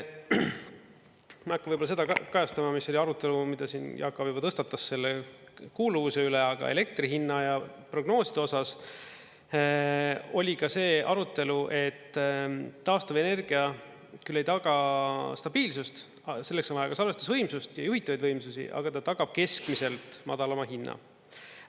Ma ei hakka võib-olla seda kajastama, mis oli arutelu, mida siin Jaak Aab juba tõstatas selle kuuluvuse üle, aga elektri hinna ja prognooside osas oli ka see arutelu, et taastuvenergia küll ei taga stabiilsust – selleks on vaja ka salvestusvõimsust ja juhitavaid võimsusi –, aga ta tagab keskmiselt madalama hinna.